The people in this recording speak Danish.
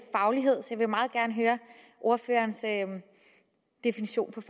faglighed så jeg vil meget gerne høre ordførerens definition